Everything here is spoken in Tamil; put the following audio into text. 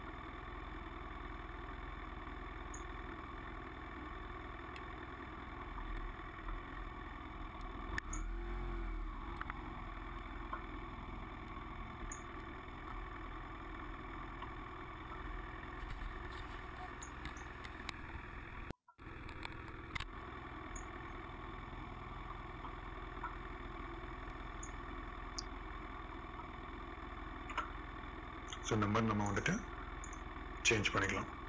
so நம்ம இந்த மாதிரி வந்துட்டு change பண்ணிக்கலாம்